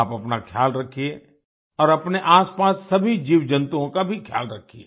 आप अपना ख्याल रखिए और अपने आसपास सभी जीवजंतुओं का भी ख्याल रखिए